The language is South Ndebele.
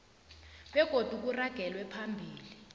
begodu kuragelwe phambili